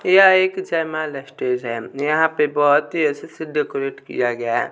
यह एक जयमाला स्टेज है यहां पे बहुत ही अच्छे से डेकोरेट किया गया।